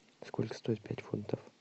сколько стоит пять фунтов